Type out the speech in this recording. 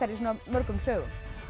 í svona mörgum sögum